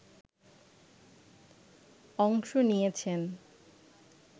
অংশ নিয়েছেন